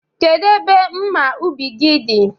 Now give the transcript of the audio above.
Kedu ebe mma ubi gi dị?